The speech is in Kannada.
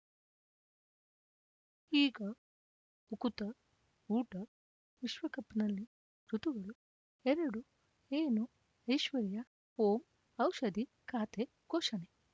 ಈಗ ಉಕುತ ಊಟ ವಿಶ್ವಕಪ್‌ನಲ್ಲಿ ಋತುಗಳು ಎರಡು ಏನು ಐಶ್ವರ್ಯಾ ಓಂ ಔಷಧಿ ಖಾತೆ ಘೋಷಣೆ